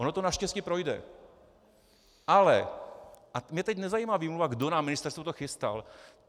Ono to naštěstí projde, ale - a mě teď nezajímá výmluva, kdo na ministerstvu to chystal.